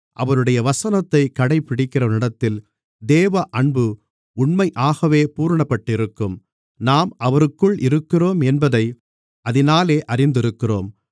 அவருடைய வசனத்தைக் கடைபிடிக்கிறவனிடத்தில் தேவ அன்பு உண்மையாகவே பூரணப்பட்டிருக்கும் நாம் அவருக்குள் இருக்கிறோம் என்பதை அதினாலே அறிந்திருக்கிறோம்